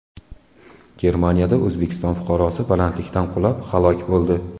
Germaniyada O‘zbekiston fuqarosi balandlikdan qulab, halok bo‘ldi.